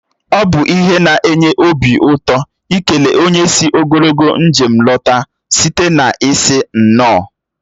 Ọ bụ ihe na-enye obi ụtọ ikele onye sị ogologo njem lọta site n'ịsị "nnọọ"